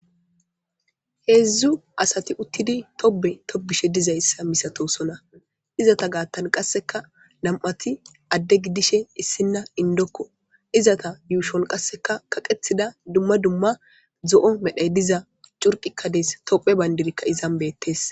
Heedzdzu asati uttidi tobe tobishe dizayssa misatosona izata gaattan qasseka nam'ati adde gidishe issinna indokko izata yuushon qasseka kaqethida dumma dumma zo'o medhey diza curqikkadees tophe bayndirikka izan beettes.